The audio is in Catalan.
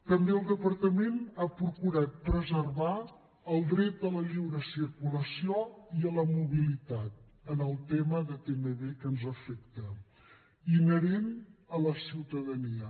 també el departament ha procurat preservar el dret a la lliure circulació i a la mobilitat en el tema de tmb que ens afecta inherent a la ciutadania